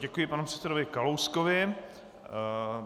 Děkuji panu předsedovi Kalouskovi.